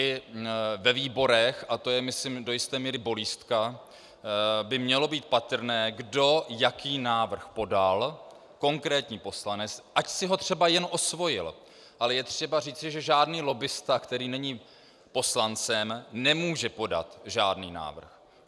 I ve výborech, a to je myslím do jisté míry bolístka, by mělo být patrné, kdo jaký návrh podal, konkrétní poslanec, ať si ho třeba jen osvojil, ale je třeba říci, že žádný lobbista, který není poslancem, nemůže podat žádný návrh.